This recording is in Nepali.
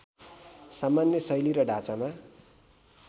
सामान्य शैली र ढाँचामा